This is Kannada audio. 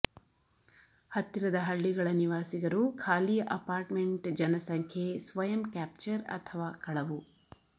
ಹತ್ತಿರದ ಹಳ್ಳಿಗಳ ನಿವಾಸಿಗರು ಖಾಲಿ ಅಪಾರ್ಟ್ಮೆಂಟ್ ಜನಸಂಖ್ಯೆ ಸ್ವಯಂ ಕ್ಯಾಪ್ಚರ್ ಅಥವಾ ಕಳವು